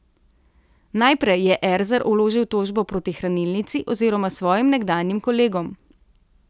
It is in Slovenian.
Najprej je Erzar vložil tožbo proti hranilnici oziroma svojim nekdanjim kolegom.